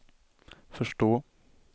förstå